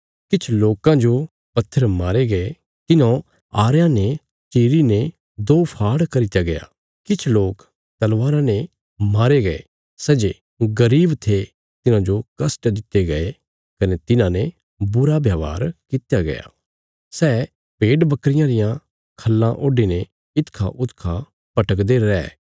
किछ लोकां जो पत्थर मारे गये तिन्हौं आरयां ने चीरेने दो फाड़ करित्या गया किछ लोक तलवारां ने मारे गये सै जे गरीब थे तिन्हांजो कष्ट दित्ते गये कने तिन्हांने बुरा व्यवहार कित्या गया सै भेड बकरियां रियां खाल्लां ओडीने इखाउखा भटकदे रै